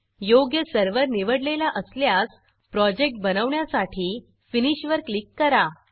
योग्य सर्व्हर निवडलेला असल्यास प्रोजेक्ट बनवण्यासाठी फिनिश फिनिश वर क्लिक करा